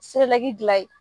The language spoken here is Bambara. dilan a ye